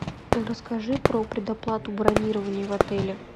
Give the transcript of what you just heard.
расскажи про предоплату бронирования в отеле